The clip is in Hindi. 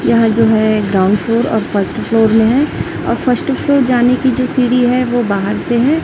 यहां जो हैं ग्राउंड फ्लोर और फर्स्ट फ्लोर में है और फर्स्ट फ्लोर जाने की जो सीढ़ी हैं वो बाहर से है।